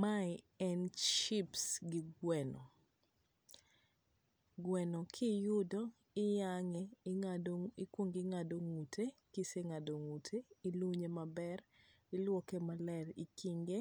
Mae en chips gi gweno. Gweno kiyudo iyang'e, ikuongo ing'ado ng'ute, ka ise ng'ado ng'ute, ilunye maber, iluoke maler, ikinge